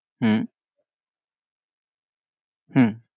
হম হম